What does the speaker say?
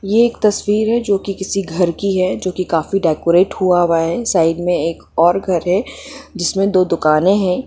ये एक तस्वीर है जो कि किसी घर की है जो कि काफी डेकोरेट हुआ हुआ है साइड में एक और घर है जिसमें दो दुकानें हैं।